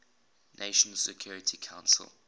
nations security council